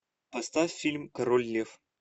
поставь фильм король лев